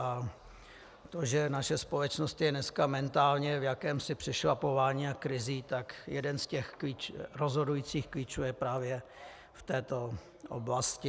A to, že naše společnost je dneska mentálně v jakémsi přešlapování a krizi, tak jeden z těch rozhodujících klíčů je právě v této oblasti.